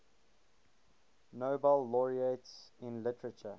nobel laureates in literature